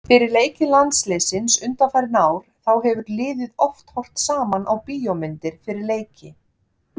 Fyrir leiki landsliðsins undanfarin ár þá hefur liðið oft horft saman á bíómyndir fyrir leiki.